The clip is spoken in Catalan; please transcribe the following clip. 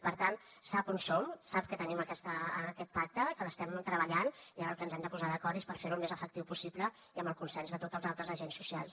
per tant sap on som sap que tenim aquest pacte que l’estem treballant i ara en el que ens hem de posar d’acord és a fer lo el més efectiu possible i amb el consens de tots els altres agents socials